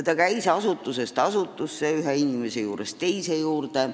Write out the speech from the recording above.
Ta käis asutusest asutusse, ühe inimese juurest teise juurde.